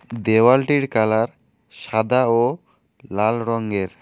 দেওয়ালটির colour সাদা ও লাল রঙ্গের ।